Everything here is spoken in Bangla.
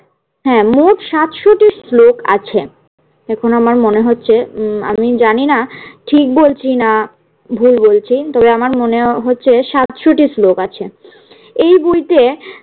হ্যাঁ মোট সাতশোটি স্লোক আছে। এখন আমার মনে হচ্ছে উম আমি জানি না ঠিক বলছি না ভুল বলছি তবে আমার মনে হচ্ছে সাতশো টি শ্লোক আছে। এই বইতে